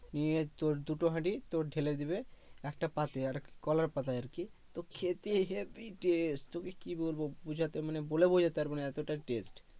নিয়ে তোর দুটো হাড়ি তোর ঢেলে দিবে একটা পাতে আর এক কলার পাতায় আরকি তো খেতে habby test তোকে কি বলবো বুঝাতে মানে বলে বোঝাতে পারব না এতোটা টেস্ট